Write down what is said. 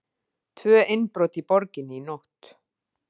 Tvö innbrot í borginni í nótt